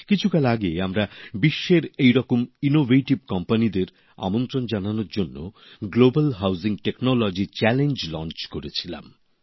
কিছুকাল আগে আমরা বিশ্বের এইরকম উদ্ভাবন সংস্থাদের আমন্ত্রণ জানানোর জন্য গ্লোবাল হাউজিং টেকনোলজি চ্যালেঞ্জ শুরু করেছিলাম